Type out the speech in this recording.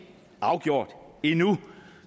afgjort endnu